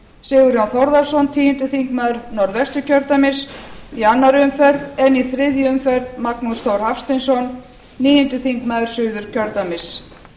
sigurjón þórðarson tíundi þingmaður norðvesturkjördæmis í annarri umferð en í þriðju umferð magnús þór hafsteinsson níundi þingmaður suðurkjördæmis